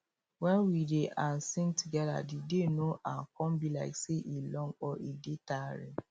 when we dey um sing together the day no um come be like say e long or e dey tiring